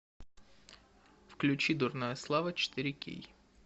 включи дурная слава четыре кей